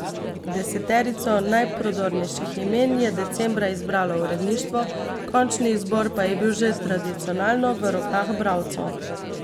Deseterico najprodornejših imen je decembra izbralo uredništvo, končni izbor pa je bil že tradicionalno v rokah bralcev.